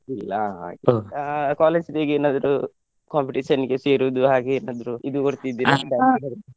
ಇಲ್ಲಾ ಹಾಗೆ ಇಲ್ಲ ಆ college day ಗೇನಾದ್ರೂ competition ಗೆ ಸೇರುದು ಹಾಗೆ ಎನಾದ್ರು ಇದು ಕೊಡ್ತಿದೀರಾ